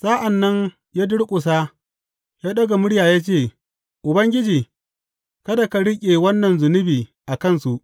Sa’an nan ya durƙusa ya ɗaga murya ya ce, Ubangiji, kada ka riƙe wannan zunubi a kansu.